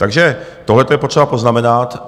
Takže tohleto je potřeba poznamenat.